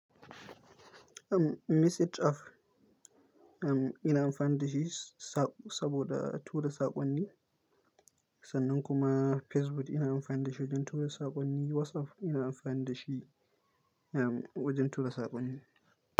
Message app ina amfani da shi saboda tura saƙonni, sannan kuma Facebook ina amfani da shi wajen tura saƙonni, WhatsApp ina amfani da shi, um, wajen tura saƙonni.